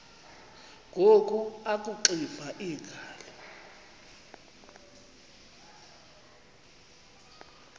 ngoku akuxiva iingalo